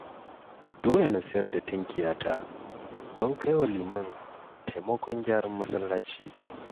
Dole na sayar da tinkiyata don kai wa Liman taimakon gyaran masallaci